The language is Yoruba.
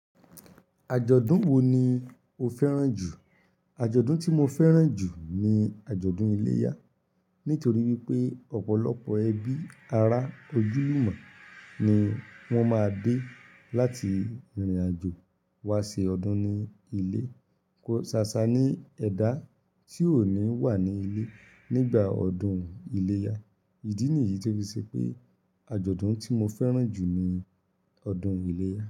Ajọdun wo ni o fẹran ju? Ajọdun ti mo fẹran ju ni ajọdun iléyá, nitori wípé ọpọlọpọ ẹbí, ará, ojúlùmọ̀ ni wọn máa dé láti rínrin àjò wá ṣe ọdún ní ilé. Kò sáṣá ni ẹ̀dá ti ó ni wà ní ilé nígbà ọdún iléyá. Ìdí nìyí ti ó fi ṣe pé ajọdun ti mo fẹran jù ni ọdún iléyá.